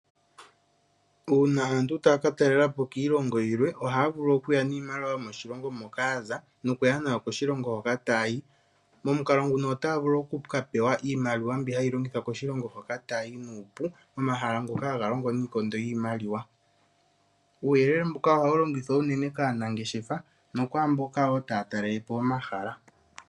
Uuna aantu taya ka talela po kiilongo yilwe ohaya vulu okuya niimaliwa yomoshilongo moka ya za nokuya nayo koshilongo hoka taya yi. Momukalo nguka otaya vulu oku ka pewa iimaliwa mbi hayi longithwa koshilongo hoka taya yi nuupu komahala ngoka haga longo niikondo yiimaliwa. Uuyelele mbuka ohawu longithwa unene kaanangeshefa nokwaa mboka wo taya talele po omahala.